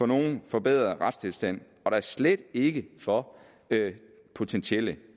nogen forbedret retstilstand og da slet ikke for potentielle